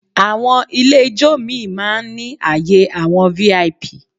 Àwọn ilé ijó míì máa ń ní àyè àwọn VIP